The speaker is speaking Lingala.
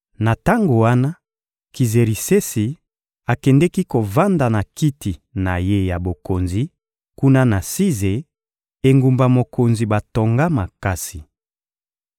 Na tango wana, Kizerisesi akendeki kovanda na kiti na ye ya bokonzi kuna na Size, engumba mokonzi batonga makasi.